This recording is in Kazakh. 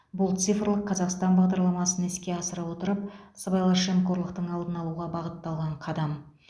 бұл цифрлық қазақстан бағдарламасын іске асыра отырып сыбайлас жемқорлықтың алдын алуға бағытталған қадам